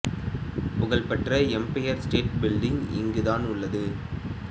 புகழ் பெற்ற Empire State Building இங்கு தான் உள்ளது